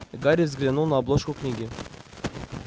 и гарри взглянул на обложку книги